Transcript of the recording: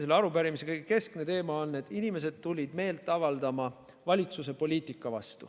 Selle arupärimise keskne teema on, et inimesed tulid meelt avaldama valitsuse poliitika vastu.